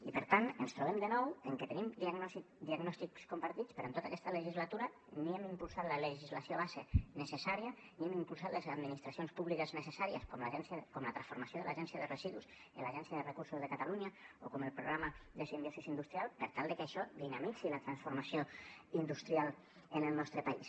i per tant ens trobem de nou amb que tenim diagnòstics compartits però en tota aquesta legislatura ni hem impulsat la legislació base necessària ni hem impulsat les administracions públiques necessàries com la transformació de l’agència de residus en l’agència de recursos de catalunya o com el programa de simbiosi industrial per tal de que això dinamitzi la transformació industrial en el nostre país